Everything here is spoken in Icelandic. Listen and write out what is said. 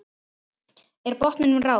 Er botninum náð?